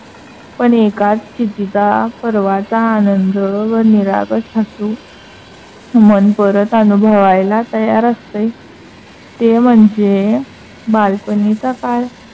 पण एकाच स्तिथीचा पर्वाचा आनंद व निरागस हसू मन परत अनुभवायला तयार असते. ते म्हणजे बालपणीचा काळ